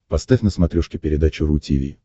поставь на смотрешке передачу ру ти ви